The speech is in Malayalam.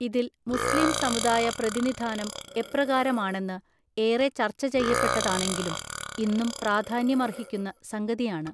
ഇതിൽ മുസ്ലിം സമുദായ പ്രതിനിധാനം എപ്രകാരമാണെന്ന് ഏറെ ചർച്ചചെയ്യപ്പെട്ടതാണെങ്കിലും ഇന്നും പ്രാധാന്യമർഹിക്കുന്ന സംഗതിയാണ്